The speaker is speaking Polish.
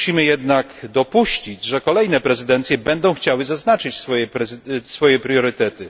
Musimy jednak dopuścić, że kolejne prezydencje będą chciały zaznaczyć swoje priorytety.